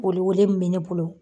Welewele min bɛ ne bolo.